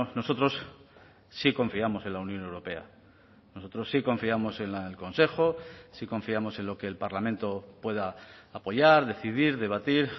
nosotros sí confiamos en la unión europea nosotros sí confiamos en el consejo sí confiamos en lo que el parlamento pueda apoyar decidir debatir